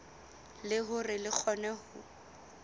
le hore re kgone ho